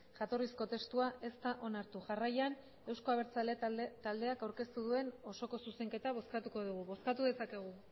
jatorrizko testua ez da onartu jarraian euzko abertzaleak taldeak aurkeztu duen osoko zuzenketa bozkatuko dugu bozkatu dezakegu